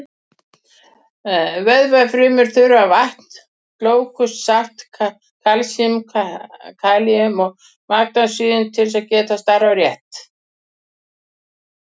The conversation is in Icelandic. Vöðvafrumur þurfa vatn, glúkósa, salt, kalsín, kalín og magnesín til að geta starfað rétt.